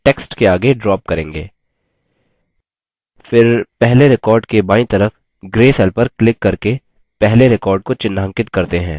फिर पहले record के बायीं तरफ gray cell पर क्लिक करके पहले record को चिह्नांकित करते हैं